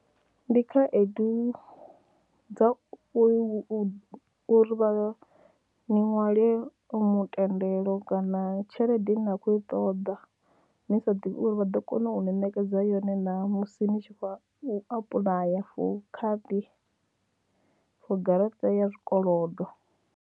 Ndi khaedu dza u uri vha, ni ṅwale mutendelo kana tshelede ine na khou i ṱoḓa ni sa ḓivhi uri vha ḓo kona u ni nekedza yone naa musi ni tshi khou apuḽaya for khadi for garaṱa ya zwikolodo.